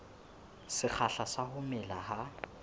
sekgahla sa ho mela ha